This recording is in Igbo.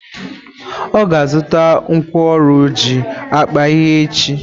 Ọ ga azuta nkwọ ọrụ ọjị akpa ihe echi?